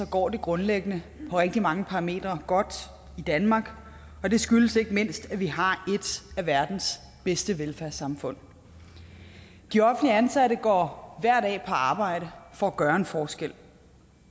går det grundlæggende på rigtig mange parametre godt i danmark og det skyldes ikke mindst at vi har et af verdens bedste velfærdssamfund de offentligt ansatte går hver dag på arbejde for at gøre en forskel